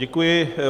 Děkuji.